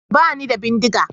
Ba ni da bindiga.